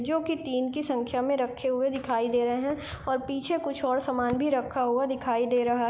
जो की तीन की संख्या मे रखे हुए दिखाई दे रहे है और पीछे कुछ और समान भी रखा हुआ दिखाई दे रहा --